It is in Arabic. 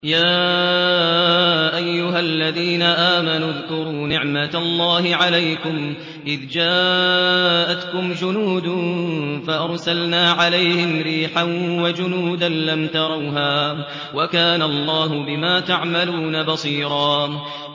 يَا أَيُّهَا الَّذِينَ آمَنُوا اذْكُرُوا نِعْمَةَ اللَّهِ عَلَيْكُمْ إِذْ جَاءَتْكُمْ جُنُودٌ فَأَرْسَلْنَا عَلَيْهِمْ رِيحًا وَجُنُودًا لَّمْ تَرَوْهَا ۚ وَكَانَ اللَّهُ بِمَا تَعْمَلُونَ بَصِيرًا